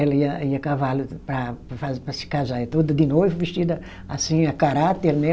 Ela ia ia a cavalo para, para fa, para se casar, ia toda de noiva, vestida assim, a caráter, né?